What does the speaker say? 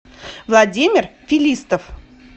владимир фелистов